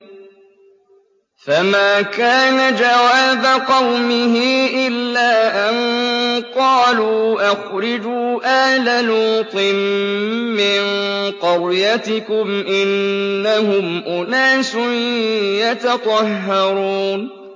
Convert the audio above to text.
۞ فَمَا كَانَ جَوَابَ قَوْمِهِ إِلَّا أَن قَالُوا أَخْرِجُوا آلَ لُوطٍ مِّن قَرْيَتِكُمْ ۖ إِنَّهُمْ أُنَاسٌ يَتَطَهَّرُونَ